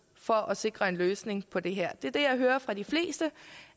for at sikre en løsning på det her det jeg hører fra de fleste